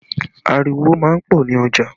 Ariwo má ń pọ̀ ní ọjà